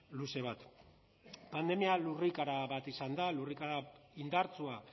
luze bat pandemia lurrikara bat izan da lurrikara indartsua